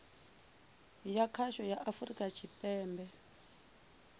ya khasho ya afurika tshipembe